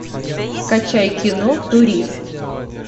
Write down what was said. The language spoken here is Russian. скачай кино турист